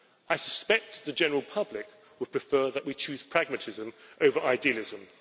I suspect the general public would prefer that we choose pragmatism over idealism.